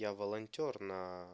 я волонтёр на